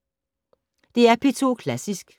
DR P2 Klassisk